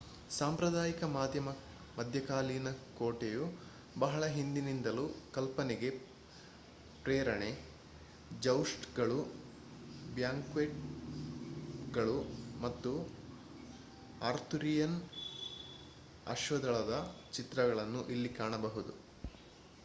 ಸಾಂಪ್ರದಾಯಿಕ ಮಧ್ಯಕಾಲೀನ ಕೋಟೆಯು ಬಹಳ ಹಿಂದಿನಿಂದಲೂ ಕಲ್ಪನೆಗೆ ಪ್ರೇರಣೆ ಜೌಸ್ಟ್‌ಗಳು ಬ್ಯಾಂಕ್ವೆಟ್‌ಗಳು ಮತ್ತು ಆರ್ಥುರಿಯನ್ ಅಶ್ವದಳದ ಚಿತ್ರಗಳನ್ನು ಇಲ್ಲಿ ಕಾಣಬಹುದು